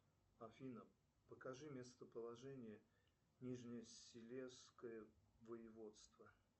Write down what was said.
афина покажи местоположение нижнесилезское воеводство